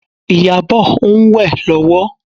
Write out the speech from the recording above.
Ìyábọ̀ ń wẹ̀ lọ́wọ́